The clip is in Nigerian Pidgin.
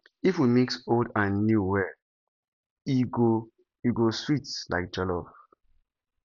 if we mix old and new well e go e go sweet like jollof